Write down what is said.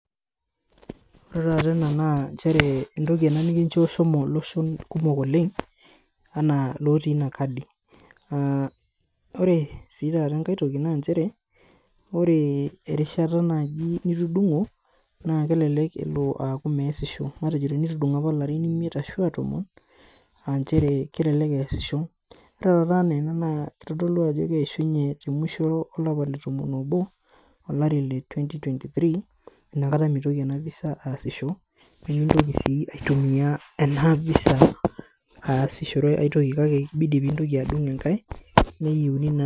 Ore taata ena naa nchere entoki nikincho shomo iloshon kumok oleng anaa ilotii inakadi. Ore sii taata enkae toki naa nchere ore naji erishata nitudungo naa kelelek elo aaku measisho , tenitudungo apa ilarin imiet ashu tomon naa kelelek easisho .Ore taata enaa ena naa kitodolu ajo kelo temwisho olapa letomon obo olari letwenty twenty theree inakata mitoki enavisa aasisho , nemintoki naa asishore enavisa aasie enkae toki kake kibidi naa pintoki adung enkae.